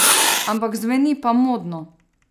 Ampak zveni pa modno!